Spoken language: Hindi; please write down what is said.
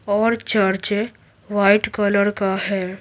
और चर्च वाइट कलर का है।